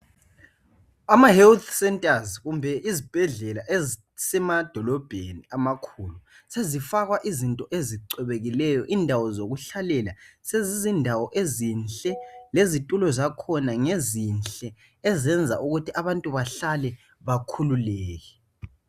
AmaHealth Centres kumbe izibhedlela ezisemadolobheni amakhulu sezifakwa izinto ezicwebekileyo. Indawo zokuhlalela sezizindawo ezinhle lezithulo zakhona ngezinhle ezenza ukuthi abantu bahlale bakhululeke.